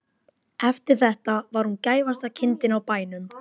Eftir þetta var hún gæfasta kindin á bænum.